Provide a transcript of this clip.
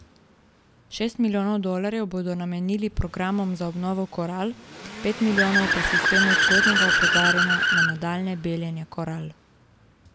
Šest milijonov dolarjev bodo namenili programom za obnovo koral, pet milijonov pa sistemu zgodnjega opozarjanja na nadaljnje beljenje koral.